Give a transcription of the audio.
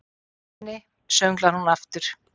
Góðmenni, sönglar hún aftur.